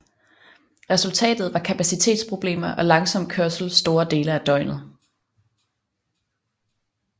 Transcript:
Resultatet var kapacitetsproblemer og langsom kørsel store dele af døgnet